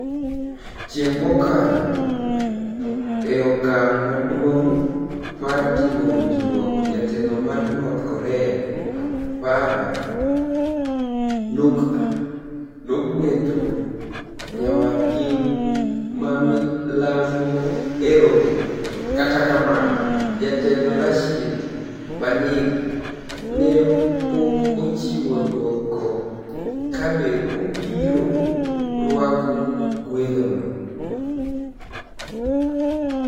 Chienig ' mokalo, e okanig ' maduonig ' mar timo winijruok, jatelo mar north Korea, Farah niukdha , nogwelo niyawadgi ma milambo e romo, kata kamano, Jatelo Rashid Panig -ni e pok ochiwo dwoko kabe obiro rwako gwelno.